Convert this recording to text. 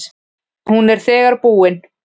Hún er þegar búin.